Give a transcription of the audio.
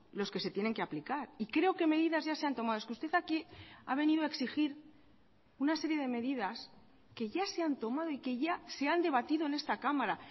los que se tienen que aplicar y creo que medidas ya se han tomado es que usted aquí ha venido a exigir una serie de medidas que ya se han tomado y que ya se han debatido en esta cámara